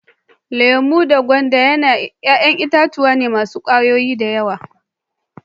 Lemu da gwanda yayan itatuwa ne masun kwayoyi da yawa.